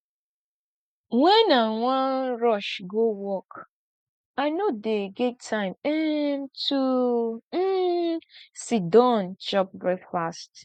wen i wan rush go work i no dey get time um to um siddon chop breakfast